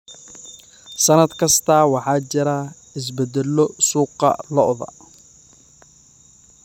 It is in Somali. Sannad kasta, waxaa jira isbeddello suuqa lo'da lo'da.